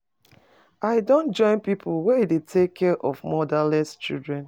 I don join pipu we dey take care of motherless children.